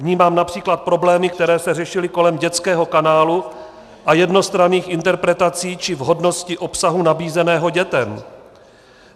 Vnímám například problémy, které se řešily kolem dětského kanálu a jednostranných interpretací či vhodnosti obsahu nabízeného dětem.